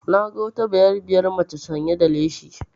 Na ga wata bayarabiyar maca sanya da leshi